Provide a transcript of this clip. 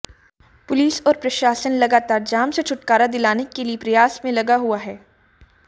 police और प्रशासन लगातार जाम से छुटकारा दिलाने के लिए प्रयास में लगा हुआ हैं